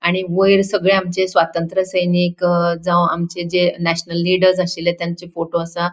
आणि वैर सगळे आमचे स्वातंत्र सैनिक जाव आमचे जे नैशनल लीडर्स आशिल्ले त्यांचे फोटो असा.